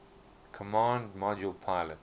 command module pilot